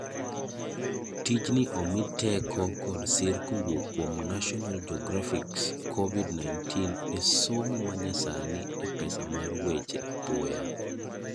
Tij ni omii teko kod sir kowuok kuom National Geographic 's COVID-19 esomo manyasani epesa mar weche apoya .